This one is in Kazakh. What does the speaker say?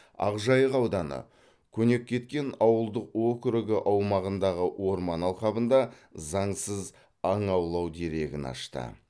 ақжайық ауданы көнеккеткен ауылдық округі аумағындағы орман алқабында заңсыз аң аулау дерегін ашты